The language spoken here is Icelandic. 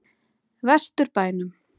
Vestur bænum.